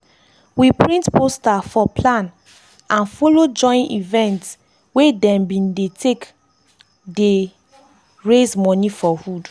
we print poster for plan and and follow join event wey dem be take dey raise money for hood.